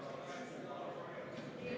V a h e a e g